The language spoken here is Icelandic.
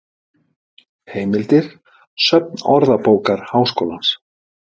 heimildir söfn orðabókar háskólans